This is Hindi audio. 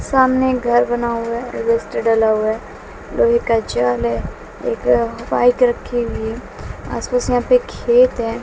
सामने एक घर बना हुआ है है लोहे का जाल है एक बाइक रखी हुई है आस पास में यहां पे खेत है।